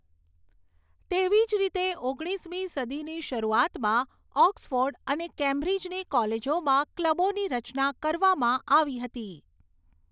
તેવી જ રીતે, ઓગણીસમી સદીની શરૂઆતમાં ઓક્સફૉર્ડ અને કેમ્બ્રિજની કોલેજોમાં ક્લબોની રચના કરવામાં આવી હતી.